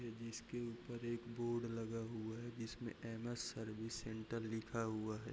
जिसके ऊपर एक बोर्ड लगा हुआ है जिसमें एम.एस. सर्विस सेन्टर लिखा हुआ है।